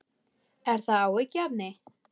Er það áhyggjuefni?